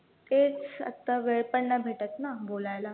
तेच आता वेळ पण नाही भेटतं ना बोलायला